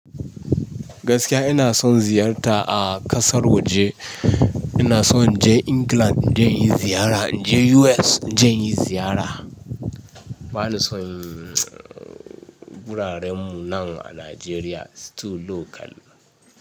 Gaskiya ina son ziyarta a ƙasar waje. Ina son in je England in je inyi ziyara, in je US in je inyi ziyara. Bani son guraren mu nan a Nigeria, still local.